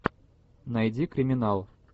найди криминал